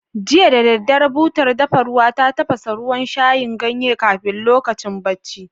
Jiya da daddare, butar dafa ruwa ta tafasa ruwan shayin ganye kafin lokacin bacci.